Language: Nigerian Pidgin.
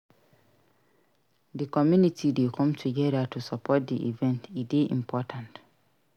Di community dey come togedir to support di event; e dey important.